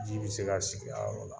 Ji bi se ka sigi a yɔrɔ la